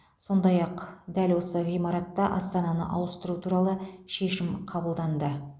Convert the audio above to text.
сондай ақ дәл осы ғимаратта астананы ауыстыру туралы шешім қабылданды